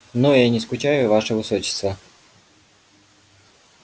но я не скучаю ваше высочество